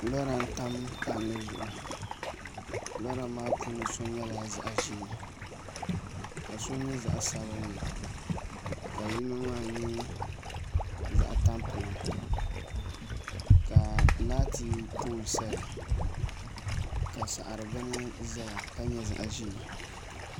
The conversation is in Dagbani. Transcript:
Lɔra n-tam palli zuɣu lɔra maa puuni so nyɛla zaɣ' ʒee ka so nyɛ zaɣ' sabinli ka yino maa nyɛ zaɣ' tapilim ka laati pooli saya ka saɣiri bini zaya ka nyɛ zaɣ' ʒee